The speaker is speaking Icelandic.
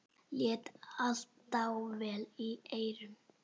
Lét allt dável í eyrum.